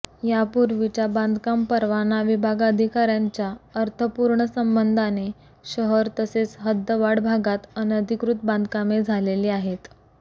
यापूर्वीच्या बांधकाम परवाना विभाग अधिकाऱयांच्या अर्थपूर्ण संबंधाने शहर तसेच हद्दवाढ भागात अनधिकृत बांधकामे झालेली आहेत